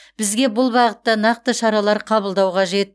бізге бұл бағытта нақты шаралар қабылдау қажет